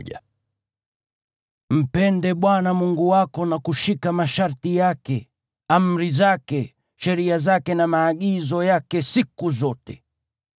Mpende Bwana Mungu wako na kushika masharti yake, amri zake, sheria zake na maagizo yake siku zote.